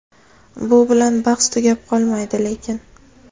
Bu bilan bahs tugab qolmaydi lekin.